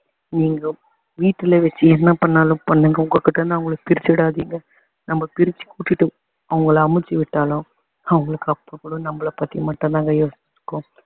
நீங்க வீட்டுல வச்சு என்ன பண்ணாலும் பண்ணுங்க உங்க கிட்டருந்து அவங்கள பிரிச்சுடாதீங்க நாம பிரிச்சி கூட்டிட்டு அவங்கள அமிச்சிவிட்டாலும் அவங்களுக்கு அப்போ கூட நம்மள பத்தி மட்டும் தாங்க யோசனை இருக்கும்